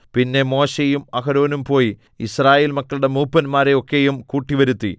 പിന്നെ മോശെയും അഹരോനും പോയി യിസ്രായേൽ മക്കളുടെ മൂപ്പന്മാരെ ഒക്കെയും കൂട്ടിവരുത്തി